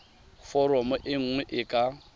foromo e nngwe e ka